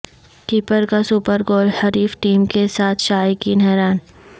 کیپرکا super goal حریف team کے ساتھ شائقین حیران